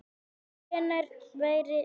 En hvenær væri þá hægt að byrja?